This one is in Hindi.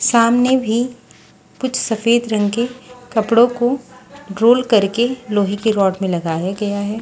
सामने भी कुछ सफेद रंग के कपड़ों को रोल करके लोहे के रोड में लगाया गया है।